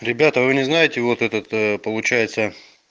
ребята вы не знаете вот этот получается